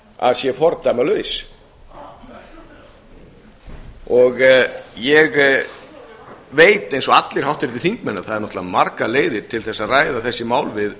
að sé fordæmalaus ég veit eins og allir háttvirtir þingmenn að það eru náttúrlega margar leiðir til að ræða þessi mál við